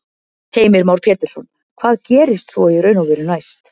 Heimir Már Pétursson: Hvað gerist svo í raun og veru næst?